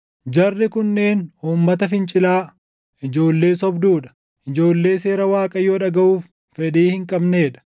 Jarri kunneen uummata fincilaa, ijoollee sobduu dha; ijoollee seera Waaqayyoo dhagaʼuuf fedhii hin qabnee dha.